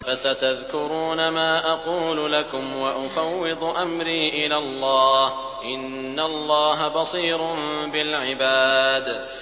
فَسَتَذْكُرُونَ مَا أَقُولُ لَكُمْ ۚ وَأُفَوِّضُ أَمْرِي إِلَى اللَّهِ ۚ إِنَّ اللَّهَ بَصِيرٌ بِالْعِبَادِ